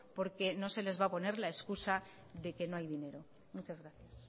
porque no se les va a poner la excusa de que no hay dinero muchas gracias